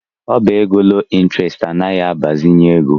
Ọbá égo loo ịntrestị anaghị agbazinye ego.